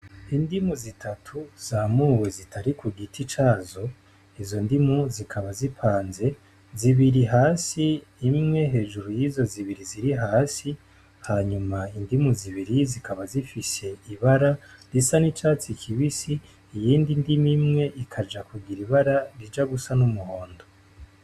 Indimu zitatu zamuwe zitari kugiti cazo, izo ndimu zikaba zipanze zibiri hasi imwe hejuru yizo zibiri ziri hasi ,hanyuma indimu zibiri zikaba zifis'ibara risa n'icatsi kibisi iyindi ndimu imwe ikaja kugir ibara rija gusa n'umuhondo.